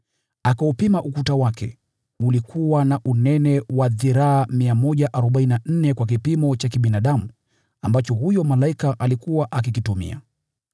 Akaupima ukuta wake, ulikuwa na unene wa dhiraa 144 kwa kipimo cha kibinadamu ambacho huyo malaika alikuwa akikitumia.